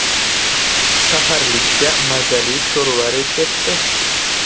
Saharlikka mazali sho‘rva retsepti.